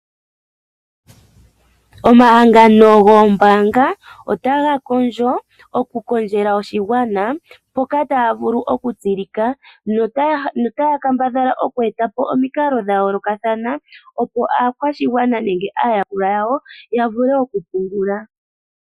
Omahangano gombaanga otaga kondjo oku kondjela oshigwana moka taya vulu okutsilika momikalo dha yooloka, opo aakwashigwana yawo ya vule okupungula.